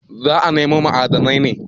Za a nemo ma'adanai ne.